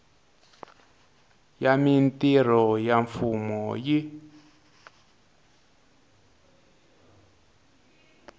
ya mintirho ya mfumo yi